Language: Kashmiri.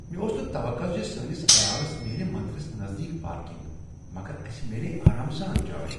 مےٚ اوس نہٕ توقع ز سٲنس عیالس میلہ مندرس نزدیٖک پارکنگ، مگر اسہ میلیٛیہ آرام سان جاے۔